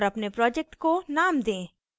और अपने project को name दें